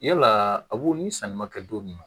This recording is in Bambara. Yalaa a b'o ni sanni ma kɛ don min na